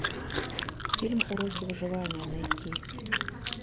фильм уроки выживания найти